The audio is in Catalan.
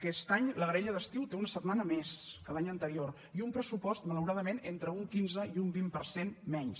aquest any la graella d’estiu té una setmana més que l’any anterior i un pressupost malauradament entre un quinze i un vint per cent menys